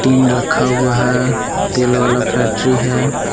Tin रखा हुआ है तेल वाला फैक्ट्री है।